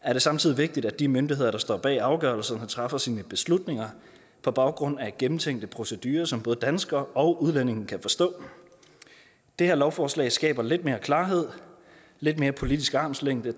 er det samtidig vigtigt at de myndigheder der står bag afgørelserne træffer sine beslutninger på baggrund af gennemtænkte procedurer som både danskere og udlændinge kan forstå det her lovforslag skaber lidt mere klarhed lidt mere politisk armslængde